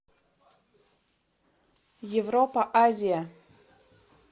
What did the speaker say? европа азия